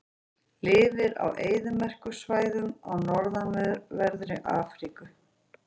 Lifir á eyðimerkursvæðum í norðanverðri Afríku.